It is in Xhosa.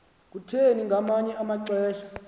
kutheni ngamanye amaxesha